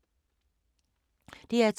DR2